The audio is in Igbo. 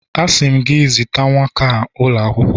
Asi m gi, ziga nwata a ulo akwukwo!